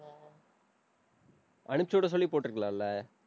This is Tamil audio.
அனுப்பிச்சு விட சொல்லி போட்டிருக்கலாம்ல?